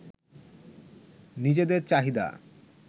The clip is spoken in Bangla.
নিজেদের চাহিদা